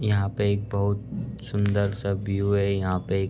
यहाँ पे एक बहोत सुंदर सा व्यू है। यहाँ पे --